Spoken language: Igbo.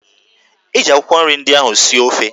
Eji akwụkwọ nri ndị ahụ sie ofe